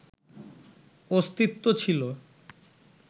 অস্তিত্ব ছিল